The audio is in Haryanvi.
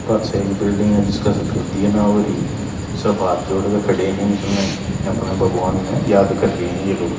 पाछह एक बिल्डिंग ह जिसकह सफेदी ए ना होरी सब हाथ जोड़ क खड़े हं इसम्ह अपणह भगवान न याद कर रे हं ये लोग।